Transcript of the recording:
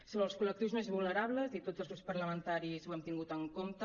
sobre els col·lectius més vulnerables i tots els grups parlamentaris ho hem tingut en compte